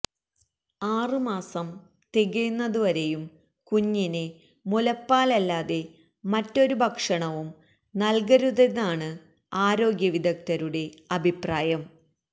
ആറു മാസം തികയുന്നതു വരെയും കുഞ്ഞിന് മുലപ്പാലല്ലാതെ മറ്റൊരു ഭക്ഷണവും നല്കരുതെന്നാണ് ആരോഗ്യവിദഗ്ധരുടെ അഭിപ്രായം